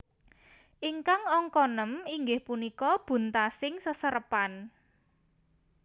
Ingkang angka nem inggih punika buntasing seserepan